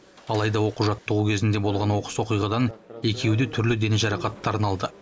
алайда оқу жаттығу кезінде болған оқыс оқиғадан екеуі де түрлі дене жарақаттарын алды